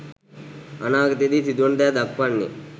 අනාගතයේදී සිදුවන දෑ දක්වන්නේ